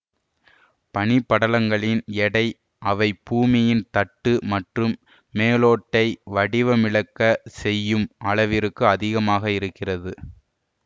பனிப்படலங்களின் எடை அவை பூமியின் தட்டு மற்றும் மேலோட்டை வடிவமிழக்கச் செய்யும் அளவிற்கு அதிகமாக இருக்கிறது